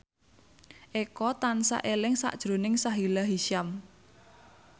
Eko tansah eling sakjroning Sahila Hisyam